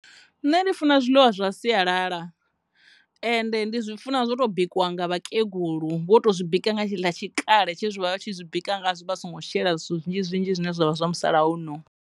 Nṋe ndi funa zwiḽiwa zwa sialala ende ndi zwi funa zwo to bikiwa nga vhakegulu vho to zwi bika nga tshetshiḽa tshikale tshe zwe vhavha vha tshi zwi bika ngazwo vha songo shela zwinzhi zwinzhi zwine zwa vha zwa musala uno.